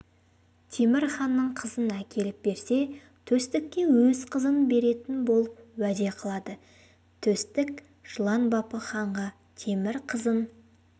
темір ханның қызын әкеліп берсе төстікке өз қызын беретін болып уәде қылады төстік жылан бапы ханға темір қызын